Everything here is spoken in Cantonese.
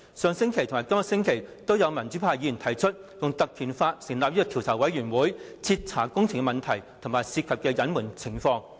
上星期和今個星期均有民主派議員提出議案，引用《立法會條例》成立專責委員會，以徹查工程問題和涉及的隱瞞情況。